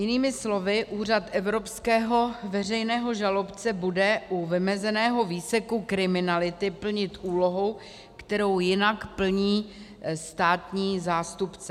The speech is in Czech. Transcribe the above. Jinými slovy Úřad evropského veřejného žalobce bude u vymezeného výseku kriminality plnit úlohu, kterou jinak plní státní zástupce.